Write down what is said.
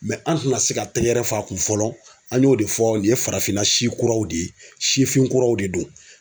an tɛna se ka tɛgɛrɛ f'a kun fɔlɔ an y'o de fɔ nin ye farafinna si kuraw de ye sifin kuraw de do.